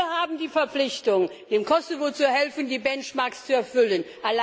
Wir haben die Verpflichtung, dem Kosovo zu helfen, die Benchmarks zu erfüllen.